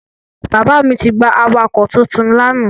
Bàbá mi ti gba awakọ̀ titun lánàá.